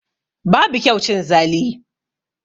Babu kyau cin zali